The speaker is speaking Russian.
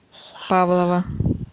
павлово